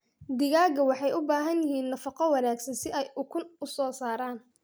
Digaagga waxay u baahan yihiin nafaqo wanaagsan si ay ukun u soo saaraan.